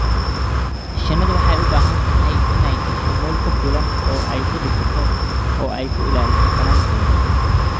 Shinnidu waxay u baahan tahay inay hesho meel ku filan oo ay ku dhisato oo ay ku ilaaliso finankeeda.